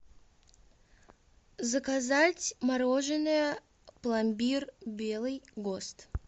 заказать мороженое пломбир белый гост